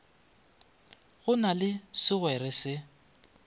go na le segwere se